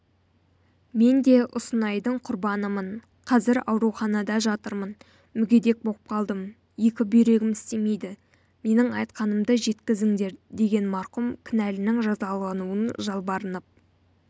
мен де ұнсынайдың құрбанымын қазір ауруханада жатырмын мүгедек боп қалдым екі бүйрегім істемейді менің айтқанымды жеткізіңдер деген марқұм кінәлінің жазалануын жалбарынып